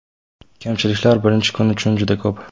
Kamchiliklar birinchi kun uchun juda ko‘p.